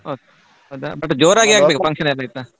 ಹೌದಾ but ಜೋರಾಗಿ ಆಗ್ಬೇಕು function ಎಲ್ಲ ಆಯ್ತಾ.